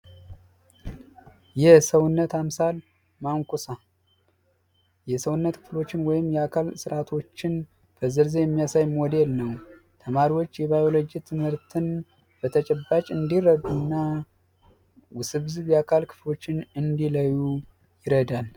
የሰውነት አምሳል ማንኮሳ የሰውነት ክፍሎችን ወይም የአካል ስርአቶችን በዝርዝር የሚያሳይ ሞዴል ነው ተማሪዎች የባዮሎጂ ትምህርትን በተጨባጭ እንዲረዱ ይረዳል።